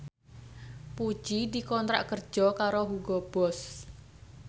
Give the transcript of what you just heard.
Puji dikontrak kerja karo Hugo Boss